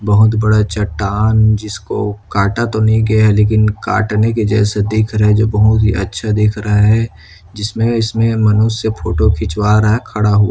बहोत बड़ा चट्टान जिसको काटा तो नही गया है लेकिन काटने के जैसा दिख रहा है जो बहोत ही अच्छा दिख रहा है जिसमें इसमें मनुष्य फोटो खिंचवा रहा है खड़ा हुआ है।